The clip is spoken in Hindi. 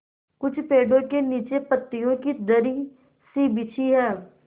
कुछ पेड़ो के नीचे पतियो की दरी सी बिछी है